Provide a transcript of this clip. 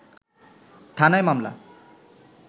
থানায় মামলা